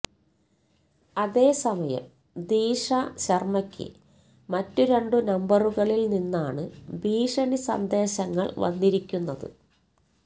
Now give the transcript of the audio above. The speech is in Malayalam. അതേസമയം ദീക്ഷ ശര്മയ്ക്ക് മറ്റ് രണ്ട് നമ്പറുകളില് നിന്നാണ് ഭീഷണി സന്ദേശങ്ങള് വന്നിരിക്കുന്നത്